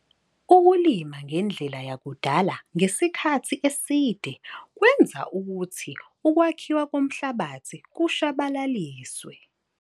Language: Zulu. Ukulima ngendlela yakudala ngesikhathi eside kwenza ukuthi ukwakhiwa komhlabathi kushabalaliswe.